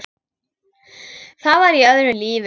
Það var í öðru lífi.